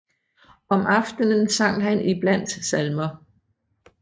Om aftenen sang han iblandt salmer